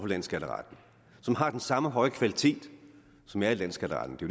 landsskatteretten som har den samme høje kvalitet som er i landsskatteretten det